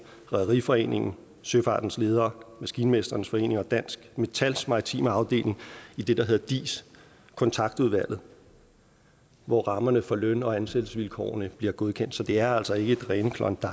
rederiforeningen søfartens ledere maskinmestrenes forening og dansk metals maritime afdeling i det der hedder dis kontaktudvalget hvor rammerne for løn og ansættelsesvilkårene bliver godkendt så det er altså ikke det rene klondike